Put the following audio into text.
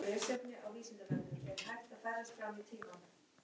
Hún sá það.